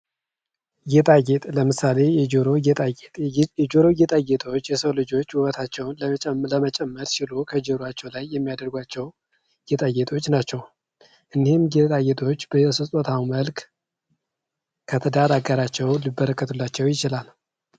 ጌጣጌጥ ለምሳሌ የጆሮ ጌጣጌጥ የጆሮ ጌጣጌጦች የሰው ልጆች ውበታቸውን ለመጨመር ሲሉ ከጆሯቸው ላይ የሚያደርጓቸው ጌጣጌጦች ናቸው እንህን ጌጣጌጦች በስጦታ መልክ ከትዳር አገራቸው ሊበረከትላቸው ይችላል።